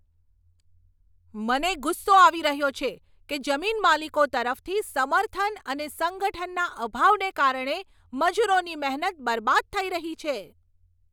મને ગુસ્સો આવી રહ્યો છે કે જમીનમાલિકો તરફથી સમર્થન અને સંગઠનના અભાવને કારણે મજૂરોની મહેનત બરબાદ થઈ રહી છે.